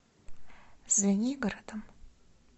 звенигородом